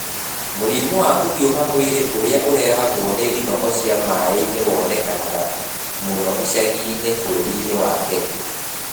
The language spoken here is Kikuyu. Mũrimũ wa kũhiũha mwĩrĩ ũrĩa ũrehagwo nĩ ndinoho cia maai-inĩ wonekanaga mũno icagi-inĩ bũrũri-inĩ wa Kenya.